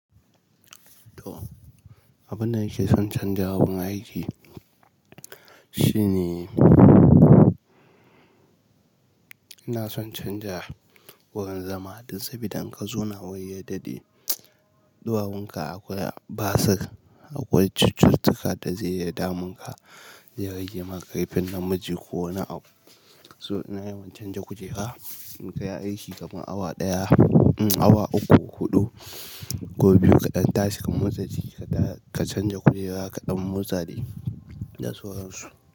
To, abin da nake son canja wurin aiki shine ina son canja wurin zama don saboda in ka zo na wurin ya daɗe, ɗuwawun ka akwai basir, akwai cututtuka da zai iya damun ka, zai rage maka ƙarfin namiji ko wani abu. So ina yawan canja kujera, in kai aiki gaban awa ɗaya, um, awa uku, huɗu ko biyu kaɗan tashi ka motsa jiki kaɗa ka canja kujera kaɗan motsa jiki da sauran su.